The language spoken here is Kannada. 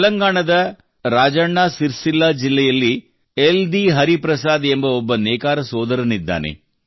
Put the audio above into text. ತೆಲಂಗಾಣದ ರಾಜಣ್ಣ ಸಿರ್ಸಿಲ್ಲಾ ಜಿಲ್ಲೆಯಲ್ಲಿ ಯೆಲ್ದಿ ಹರಿಪ್ರಸಾದ್ ಎಂಬ ಒಬ್ಬ ನೇಕಾರ ಸೋದರನಿದ್ದಾನೆ